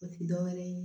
O ti dɔwɛrɛ ye